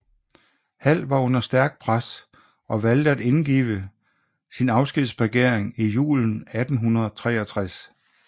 Hall var under stærkt pres og valgte at indgive sin afskedsbegæring i julen 1863